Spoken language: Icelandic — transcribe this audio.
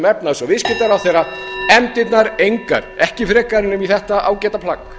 efnahags og viðskiptaráðherra efndirnar engar ekki frekar en um þetta ágæta plagg